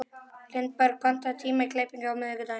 Lindberg, pantaðu tíma í klippingu á miðvikudaginn.